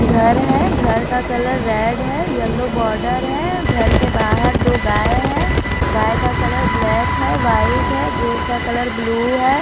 घर है घर का कलर रेड है येलो बॉर्डर है घर के बाहर दो गाय हैं गाय का कलर ब्लैक है व्हाइट है गेट का कलर ब्लू है।